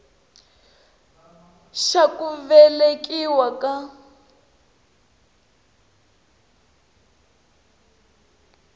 xa ku velekiwa ka n